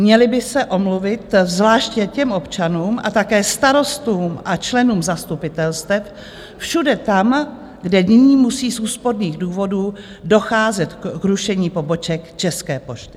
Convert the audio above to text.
Měli by se omluvit zvláště těm občanům a také starostům a členům zastupitelstev všude tam, kde nyní musí z úsporných důvodů docházet k rušení poboček České pošty.